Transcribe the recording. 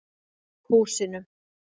Húsinu